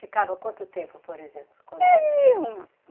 Ficava quanto tempo, por exemplo, quando se ih ia um